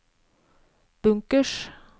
bunkers